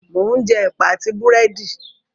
Mò ún jẹ Ẹ̀pà àti Búrẹ́dì